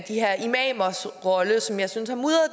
de her imamers rolle som jeg synes har mudret